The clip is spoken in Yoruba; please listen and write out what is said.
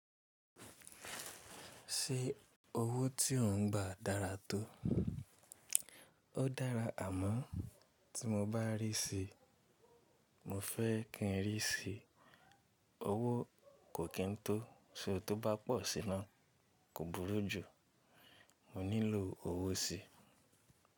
Ṣé owó tí ò ń gbà dára tó? Ó dára àmọ́ tí mo bá rí síi, mo fẹ́ kí ń rí síi, owó kò kí n tó, ṣé ó tó bá pọ̀ sí i náà, kò burú jú, mo nílò owó síi.